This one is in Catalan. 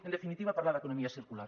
en definitiva parlar d’economia circular